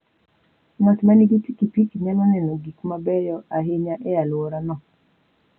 Ng'at ma nigi pikipiki nyalo neno gik mabeyo ahinya e alworano.